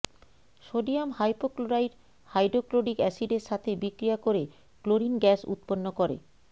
sodium hypochlorite hydrochloric acid এর সাথে বিক্রিয়া করে ক্লোরিন গ্যাস উৎপন্ন করেঃ